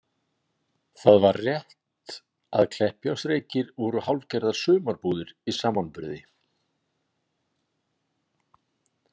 Það var rétt að Kleppjárnsreykir voru hálfgerðar sumarbúðir í samanburði.